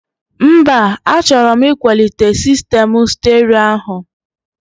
Mba, achọrọ m ịkwalite sistemụ sterio áhụ̀